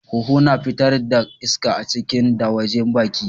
Huhu na fitar da iska a ciki da wajen baki.